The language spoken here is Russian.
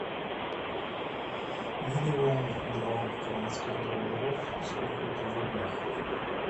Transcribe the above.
миллион два канадских долларов сколько это в рублях